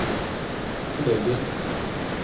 kollegiet